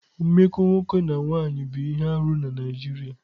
Mmekọ nwoke na nwanyị bụ ihe arụ na Naijiria.